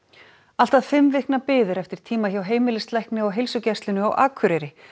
allt að fimm vikna bið er eftir tíma hjá heimilislækni á heilsugæslunni á Akureyri